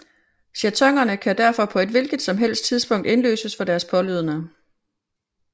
Jetonerne kan derfor på et hvilket som helst tidspunkt indløses for deres pålydende